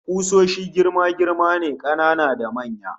Kusoshi girma-girma ne, kanana da manya